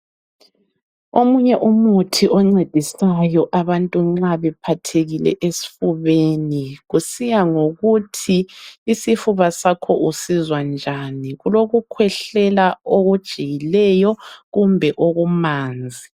Omunye umuthi oncedisayo abantu nxa bephathekile esifubeni, kusiya ngokuthi isifuba sakho usizwa njani. Kulokukhwehlela okujiyileyo kumbe okumanzi.